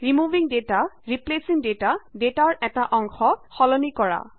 removing data replacing data ডেটাৰ এটা অংশ সলনি কৰা